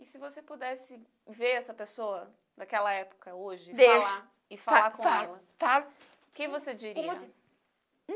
E se você pudesse ver essa pessoa daquela época hoje e falar com ela, o que você diria? Falo falo falo